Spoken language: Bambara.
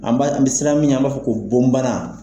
An ba an bɛ siran min ɲɛ an b'a fɔ ko bon bana.